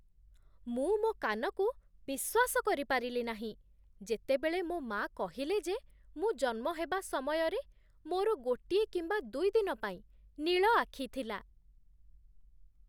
ମୁଁ ମୋ କାନକୁ ବିଶ୍ୱାସ କରିପାରିଲି ନାହିଁ ଯେତେବେଳେ ମୋ ମା' କହିଲେ ଯେ ମୁଁ ଜନ୍ମ ହେବା ସମୟରେ ମୋର ଗୋଟିଏ କିମ୍ବା ଦୁଇ ଦିନ ପାଇଁ ନୀଳ ଆଖି ଥିଲା।